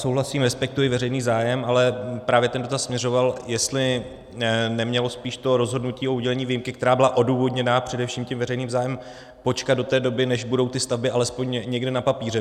Souhlasím, respektuji veřejný zájem, ale právě ten dotaz směřoval, jestli nemělo spíš to rozhodnutí o udělení výjimky, která byla odůvodněna především tím veřejným zájmem, počkat do té doby, než budou ty stavby alespoň někde na papíře.